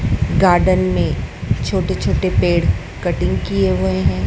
Garden में छोटे छोटे पेड़ कटिंग किये हुए हैं।